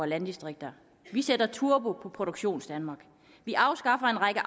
landdistrikter vi sætter turbo på produktionsdanmark vi afskaffer en række